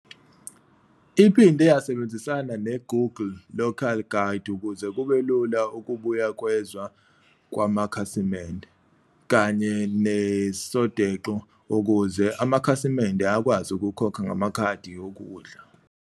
Iphinde yasebenzisana ne- Google Local Guide ukuze kube lula ukubuyekezwa kwamakhasimende, kanye ne- Sodexo ukuze amakhasimende akwazi ukukhokha ngamakhadi okudla.